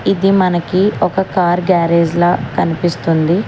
ఇది మనకి ఒక కార్ గ్యారేజ్ లా కనిపిస్తుంది.